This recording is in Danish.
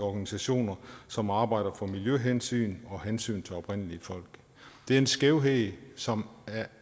organisationer som arbejder for miljøhensyn og hensyn til oprindelige folk det er en skævhed som